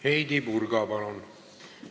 Heidy Purga, palun!